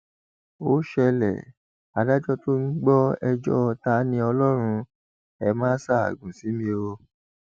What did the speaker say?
ó ṣẹlẹ adájọ tó ń gbọ ẹjọ taniọlọrun ẹ máa ṣaágùn sí mi o